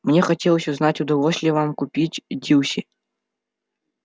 мне хотелось узнать удалось ли вам купить дилси